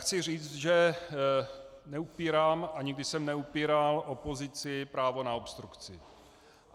Chci říct, že neupírám a nikdy jsem neupíral opozici právo na obstrukci.